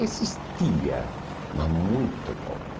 Existia, mas muito pouco.